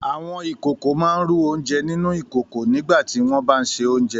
Àwọn ìkòkò máa ń rú oúnjẹ nínú ìkòkò nígbà tí wọ́n bá ń se oúnjẹ